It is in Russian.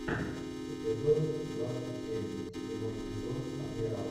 эпизод двадцать семь седьмой сезон адмирал